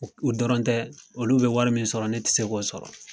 O dɔrɔn tɛ olu bɛ wari min sɔrɔ ne ti se k'o sɔrɔ.